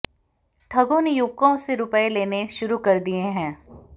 ठगों ने युवकों से रूपए लेने शुरू कर दिए